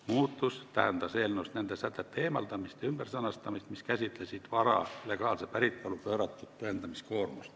Muutus tähendas eelnõust nende sätete eemaldamist ja ümbersõnastamist, mis käsitlesid vara legaalse päritolu pööratud tõendamiskoormust.